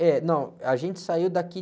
É, não, a gente saiu daqui